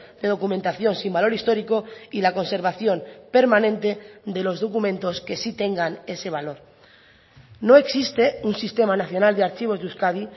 de documentación sin valor histórico y la conservación permanente de los documentos que sí tengan ese valor no existe un sistema nacional de archivos de euskadi